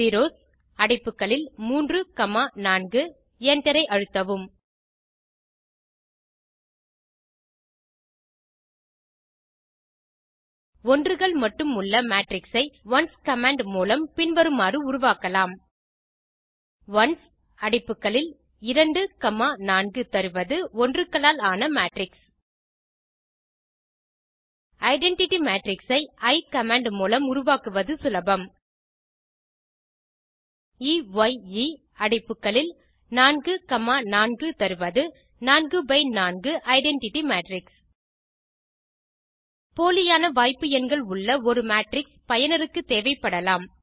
zeros அடைப்புகளில் 3 comma 4 Enter ஐ அழுத்தவும் ஒன்றுகள் மட்டும் உள்ள மேட்ரிக்ஸ் ஐ ஒன்ஸ் கமாண்ட் மூலம் பின் வருமாறு உருவாக்கலாம் ஒன்ஸ் அடைப்புகளில் 2 காமா 4 தருவது ஒன்றுக்களால் ஆன மேட்ரிக்ஸ் ஐடென்டிட்டி மேட்ரிக்ஸ் ஐ எயே கமாண்ட் மூலம் உருவாக்குவது சுலபம்160 எ ய் எ அடைப்புகளில் 4 காமா 4 தருவது 4 பை 4 ஐடென்டிட்டி மேட்ரிக்ஸ் போலியான வாய்ப்பு எண்கள் உள்ள ஒரு மேட்ரிக்ஸ் பயனருக்கு தேவைப்படலாம்